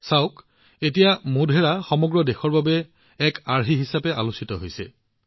চাওক এতিয়া মোধেৰাক সমগ্ৰ দেশৰ বাবে এক আৰ্হি হিচাপে আলোচনা কৰা হৈছে